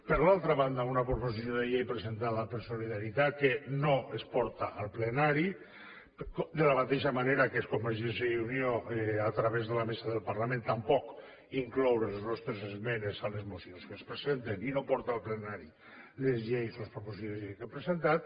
per l’altra banda una proposició de llei presentada per solidaritat que no es porta al plenari de la mateixa manera que convergència i unió a través de la mesa del parlament tampoc inclou les nostres esmenes a les mocions que es presenten i no porta al plenari les lleis o les proposicions de llei que ha presentat